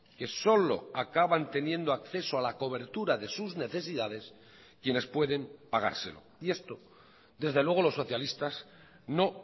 que solo acaban teniendo acceso a la cobertura de sus necesidades quienes pueden pagárselo y esto desde luego los socialistas no